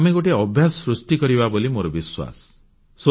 ଆମେ ଗୋଟିଏ ଅଭ୍ୟାସ ବା ମାର୍ଜିତ ସଂସ୍କୃତି ସୃଷ୍ଟି କରିପାରିବା ବୋଲି ମୋର ବିଶ୍ୱାସ